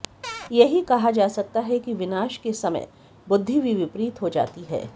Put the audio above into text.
यही कहा जा सकता है कि विनाश के समय बुद्धि भी विपरीत हो जाती है